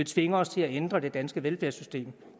tvinge os til at ændre det danske velfærdssystem